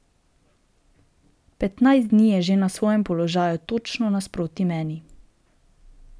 Petnajst dni je že na svojem položaju točno nasproti meni.